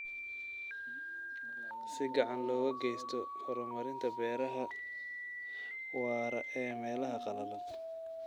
Si gacan looga geysto horumarinta beeraha waara ee meelaha qalalan.